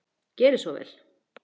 Gerið svo vel!